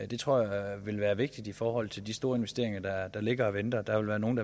det tror jeg vil være vigtigt i forhold til de store investeringer der ligger og venter der vil være nogle